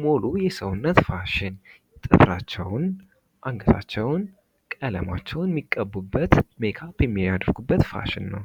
ሙሉ የሰውነት ፋሽን አንገታቸውን ቀለማቸውን የሚቀቡበት ፋሽን ነው።